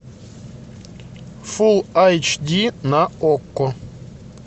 фулл эйч ди на окко